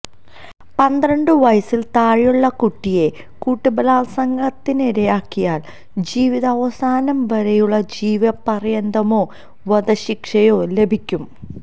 പന്ത്രണ്ട് വയസ്സില് താഴെയുള്ള കുട്ടിയെ കൂട്ടബലാല്സംഗത്തിനിരയാക്കിയാല് ജീവിതാവസാനം വരെയുള്ള ജീവപര്യന്തമോ വധശിക്ഷയോ ലഭിക്കും